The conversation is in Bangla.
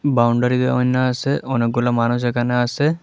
বাউন্ডারি দেওয়ান্নে আসে অনেকগুলা মানুষ এখানে আসে।